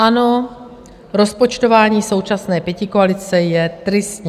Ano, rozpočtování současné pětikoalice je tristní.